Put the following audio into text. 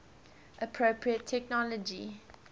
appropriate technology